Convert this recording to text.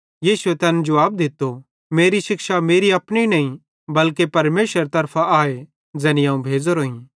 यीशुए तैन जुवाब दित्तो मेरी शिक्षा मेरी अपनी नईं बल्के परमेशरेरे तरफां आए ज़ैने अवं भेज़ोरोईं